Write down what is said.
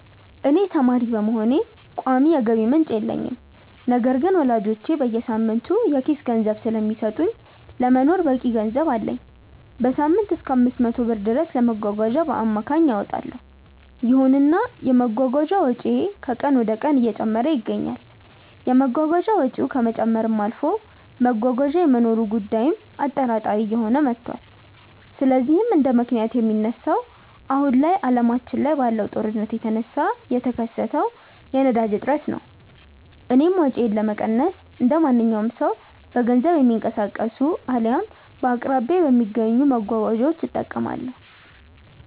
እኔ ተማሪ በመሆኔ ቋሚ የገቢ ምንጭ የለኝም። ነገር ግን ወላጆቼ በየሳምንቱ የኪስ ገንዘብ ስለሚሰጡኝ ለመኖር በቂ ገንዘብ አለኝ። በሳምንትም እሰከ 500 ብር ድረስ ለመጓጓዣ በአማካይ አወጣለው። ይሁንና የመጓጓዣ ወጪዬ ከቀን ወደቀን እየጨመረ ይገኛል። የመጓጓዣ ወጪው ከመጨመርም አልፎ መጓጓዣ የመኖሩ ጉዳይም አጠራጣሪ እየሆነ መቷል። ለዚህም እንደምክንያት የሚነሳው አሁን ላይ አለማችን ላይ ባለው ጦርነት የተነሳ የተከሰተው የነዳጅ እጥረት ነው። እኔም ወጪዬን ለመቀነስ እንደማንኛውም ሰው በገንዘብ የሚቀንሱ አልያም በአቅራቢያዬ በሚገኙ መጓጓዣዎች እጠቀማለሁ።